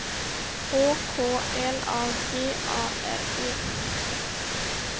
Å K L A G A R E